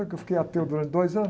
Que eu fiquei ateu durante dois anos.